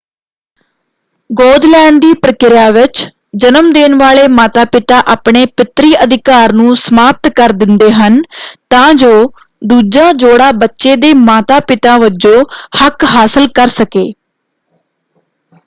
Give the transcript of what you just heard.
ਗੋਦ ਲੈਣ ਦੀ ਪ੍ਰਕਿਰਿਆ ਵਿੱਚ ਜਨਮ ਦੇਣ ਵਾਲੇ ਮਾਤਾ-ਪਿਤਾ ਆਪਣੇ ਪਿਤਰੀ ਅਧਿਕਾਰ ਨੂੰ ਸਮਾਪਤ ਕਰ ਦਿੰਦੇ ਹਨ ਤਾਂ ਜੋ ਦੂਜਾ ਜੋੜਾ ਬੱਚੇ ਦੇ ਮਾਤਾ-ਪਿਤਾ ਵਜੋਂ ਹੱਕ ਹਾਸਲ ਕਰ ਸਕੇ।